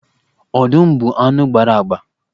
Ọdụm bụ anụ gbara agba.